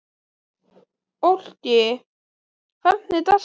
Fólki, hvernig er dagskráin?